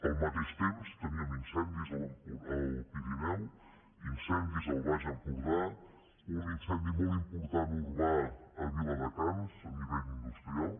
al mateix temps teníem incendis al pirineu incendis al baix empordà un incendi molt important urbà a viladecans a nivell industrial